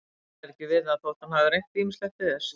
Hann ræður ekki við það þótt hann hafi reynt ýmislegt til þess.